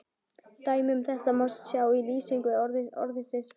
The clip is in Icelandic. Dæmi um þetta má sjá í lýsingu orðsins fangelsi: